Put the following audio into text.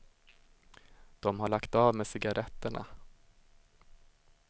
De har lagt av med cigaretterna.